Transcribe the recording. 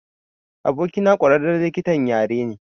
Abokina ƙwararren likitan yara ne.